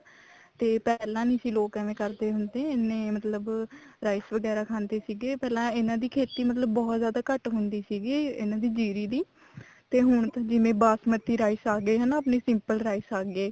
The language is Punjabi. ਤੇ ਪਹਿਲਾਂ ਸੀ ਲੋਕ ਏਵੇਂ ਕਰਦੇ ਹੁੰਦੇ ਇੰਨੇ ਮਤਲਬ rice ਵਗੈਰਾ ਖਾਂਦੇ ਸੀਗੇ ਪਹਿਲਾਂ ਇਹਨਾ ਦੀ ਖੇਤੀ ਮਤਲਬ ਬਹੁਤ ਜਿਆਦਾ ਘੱਟ ਹੁੰਦੀ ਸੀ ਇਹਨਾ ਦੀ ਜੀਰੀ ਦੀ ਤੇ ਹੁਣ ਤਾਂ ਜਿਵੇਂ ਬਾਸਮਤੀ rice ਆਗੇ ਹਨਾ ਆਪਣੇ simple rice ਆਗੇ